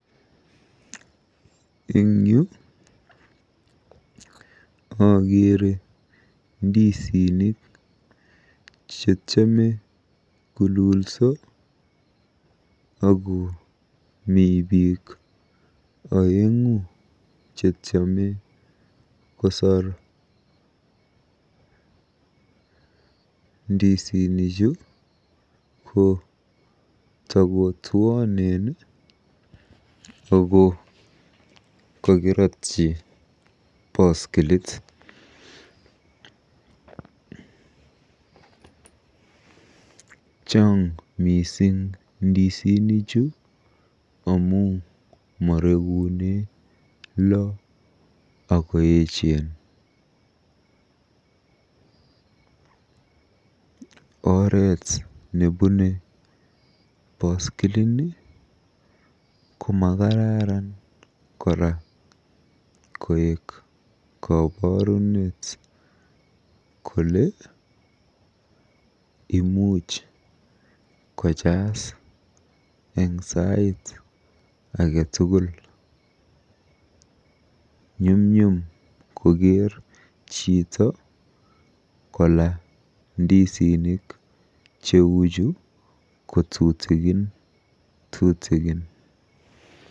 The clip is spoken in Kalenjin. Eng yu akeere ndisinik chetiame kolulso akomi biik oeng'u chetiame kosoor. Ndisinichu ko takotuonen ako kokirotyi boskilit. Chaang mising ndisinichu amu morekune lo akoechen. Oret nebune boskilini komakararan kora koek koborunet kole imuch kojas eng sait age tugul. Nyumnyum koker chito kola ndisinik cheuchu kotutikin tutikin.